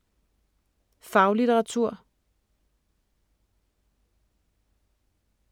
Faglitteratur